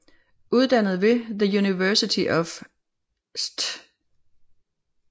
Uddannet ved The University of St